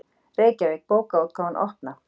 Reykjavík: Bókaútgáfan Opna.